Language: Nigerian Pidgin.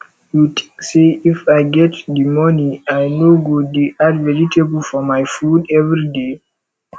you think say if i get the money i no go dey add vegetable for my food everyday